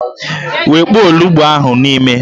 Wekpuo olughu ahụ n'ime!